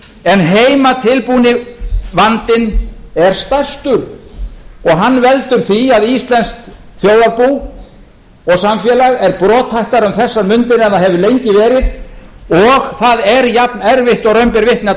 en heimatilbúni vandinn er stærstur og hann veldur því að íslenskt þjóðarbú og samfélag er brothættara um þessar mundir en það hefur lengi verið og það er jafnerfitt og raun ber vitni að